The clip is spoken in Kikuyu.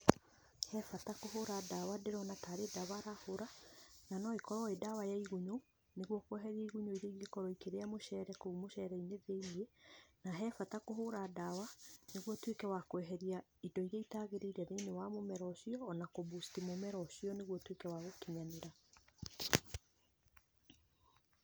He bata kũhũra ndawa. Ndĩrona ta arĩ ndawa arahũra na no ĩkorwo ĩ ndawa ya igunyũ nĩguo kweheria igunyũ iria ingĩkorwo ikĩrĩa mũcere kũu mũcere thĩinĩ. Na he bata kũhũra ndawa nĩguo ũtuĩke wa kweheria indo iria itagĩrĩire thĩinĩ wa mũmera ũcio ona kũ boost mũmera ũcio naĩguo ũtuĩke wa gũkinyanĩra.